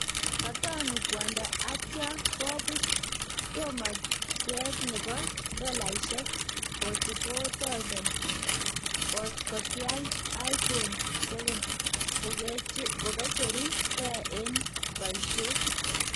Katonuu kwondo atya kobuut tamookyeet nebo dolaisyeek 44,000 ' kotiaal iphone 7 kokecheru ke en bayisyeet